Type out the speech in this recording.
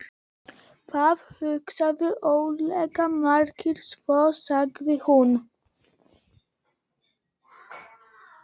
Það hugsa örugglega margir svona, sagði hún.